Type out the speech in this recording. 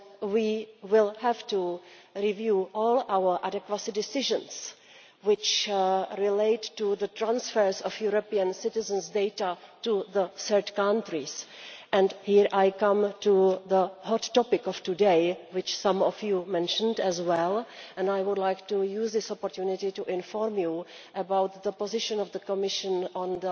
We will have to review all our adequacy decisions which relate to the transfer of European citizens' data to third countries. This is the hot topic of today, which some of you mentioned as well, and I would like to use this opportunity to inform you about the position of the Commission on